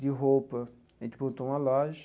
De roupa, a gente montou uma loja.